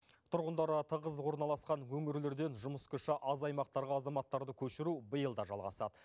тұрғындары тығыз орналасқан өңірлерден жұмыс күші аз аймақтарға азаматтарды көшіру биыл да жалғасады